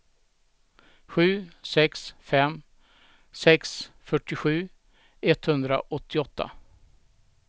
sju sex fem sex fyrtiosju etthundraåttioåtta